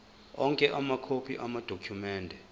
onke amakhophi amadokhumende